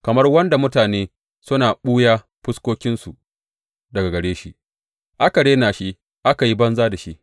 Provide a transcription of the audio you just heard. Kamar wanda mutane suna ɓuya fuskokinsu daga gare shi aka rena shi aka yi banza da shi.